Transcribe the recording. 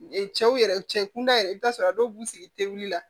Ee cɛw yɛrɛ cɛ kunda yɛrɛ i bɛ t'a sɔrɔ dɔw b'u sigi teli la